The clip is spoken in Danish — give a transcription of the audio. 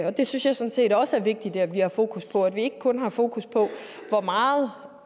og det synes jeg sådan set også er vigtigt at vi har fokus på altså at vi ikke kun har fokus på hvor meget